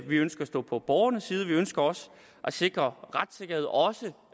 vi ønsker at stå på borgernes side vi ønsker også at sikre retssikkerhed også